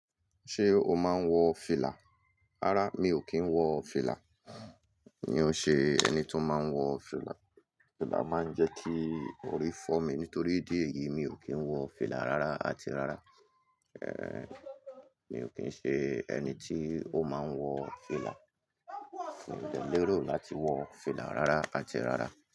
Ṣé o máa ń wọ fìlà? Rárá, mi ò kí ń wọ fìlà. Mi ò ṣe ẹni tó máa ń wọ fìlà. Fìlà máa ń jẹ́ kí orí fọ́ mi nítorí idíẹ eyìí mi ò kí ń wọ fìlà rárá áti rárá. Ehn, mi ò kín ṣe ẹni tí ó máa ń wọ fìlà. Mi ò lè lérò láti wọ fìlà rárá áti rárá.